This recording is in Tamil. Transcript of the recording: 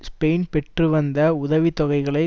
ஸ்பெயின் பெற்று வந்த உதவி தொகைகளை